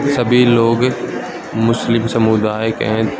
सभी लोग मुस्लिम समुदाय के हैं।